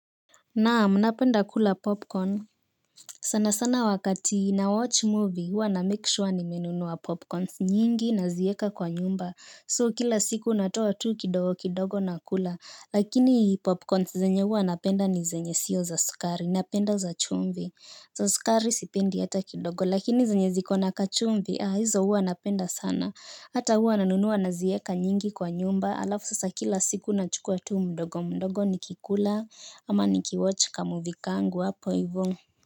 Naam, napenda kula popcorn. Sana sana wakati na watch movie huwa na make sure nimenunua popcorns nyingi nazieka kwa nyumba. So kila siku natoa tu kidogo kidogo nakula. Lakini popcorns zenye huwa napenda ni zenye sio za sukari. Napenda za chumvi. Za sukari sipendi hata kidogo. Lakini zenye zikona kachumvi, ah, hizo huwa napenda sana. Hata huwa nanunua nazieka nyingi kwa nyumba. Alafu sasa kila siku nachukua tu mdogo mdogo nikikula, ama niki watch ka movie kangu apo ivo.